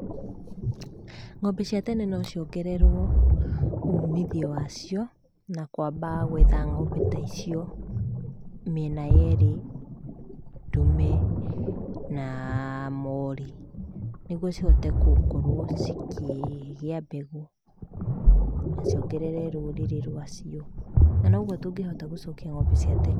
Ng'ombe ciatene nociongererwo umithio wacio na kwamba gwetha ng'ombe taicio mĩena yerĩ ta ndume na mori, nĩguo cihote kũkorwo cikĩgĩa mbegũ naciongerere rũrĩrĩ rwacio. Nanoguo tũngĩhota gũcokia ng'ombe cia tene.